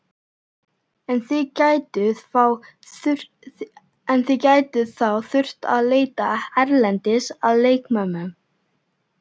En þið gætuð þá þurft að leita erlendis að leikmönnum?